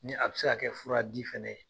Ni a bɛ se ka kɛ furadi fana ye.